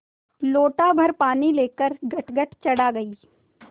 लोटाभर पानी लेकर गटगट चढ़ा गई